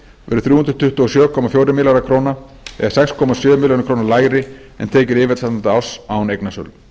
verði þrjú hundruð tuttugu og sjö komma fjórir milljarðar króna eða sex komma sjö milljörðum króna lægri en tekjur yfirstandandi árs án eignasölu